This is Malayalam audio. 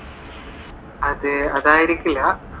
അതെ അതായിരിക്കുല്ല